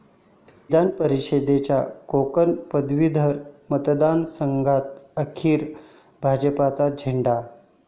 विधानपरिषदेच्या कोकण पदवीधर मतदारसंघात अखेर भाजपचाच झेंडा